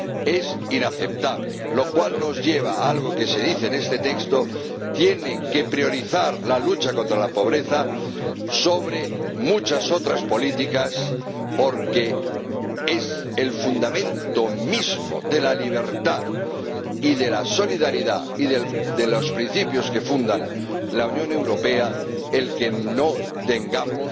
Es inaceptable, lo cual nos lleva a algo que se afirma en este texto tienen que dar prioridad a la lucha contra la pobreza con respecto a muchas otras políticas porque es el fundamento mismo de la libertad y de la solidaridad y de los principios que fundan la Unión Europea que no tengamos